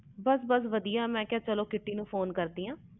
ਬਸ ਬਸ ਵਧੀਆ ਮੈਂ ਕਿਹਾ ਕ੍ਰਿਤੀ ਨੂੰ ਫੋਨ ਕਰਦੀ ਆ